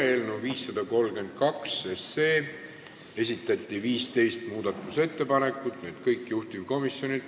Eelnõu 532 muutmiseks on esitatud 15 ettepanekut, need kõik on juhtivkomisjonilt.